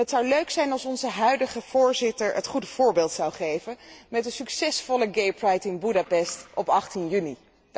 Het zou leuk zijn als onze huidige EU voorzitter het goede voorbeeld zou geven met een succesvolle gaypride in Boedapest op 18 juni